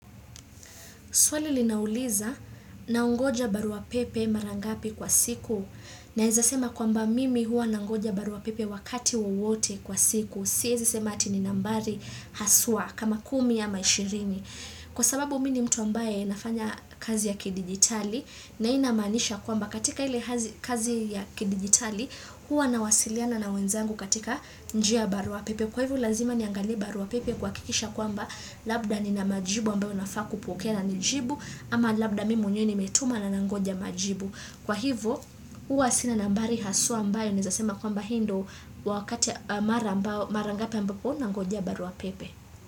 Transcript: Swali linauliza naongoja barua pepe marangapi kwa siku naeza sema kwamba mimi hua nangoja barua pepe wakati wowote kwa siku. Sieza sema ati ni nambari haswa kama kumi ama ishirini. Kwa sababu mi ni mtu ambaye nafanya kazi ya kidigitali na inamanisha kwamba katika hile kazi ya kidigitali huwa nawasiliana na wenzangu katika njia barua pepe. Kwa hivyo lazima niangalie barua pepe kuhakikisha kwamba labda nina majibu ambayo nafaa kupokea ni jibu ama labda mi mwenyewe nimetuma na nangonja majibu. Kwa hivo huwa sina nambari haswa ambayo nawezasema kwamba hi ndo wakati mara ngapi ambapo nangonjea barua pepe.